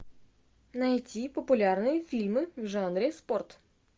найти популярные фильмы в жанре спорт